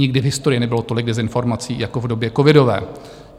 Nikdy v historii nebylo tolik dezinformací jako v době covidové.